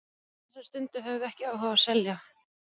Á þessari stundu höfum við ekki áhuga á að selja.